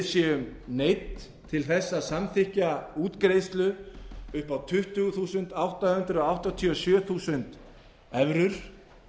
séum neydd til þess að samþykkja útgreiðslu upp á tuttugu þúsund átta hundruð áttatíu og sjö þúsund evrur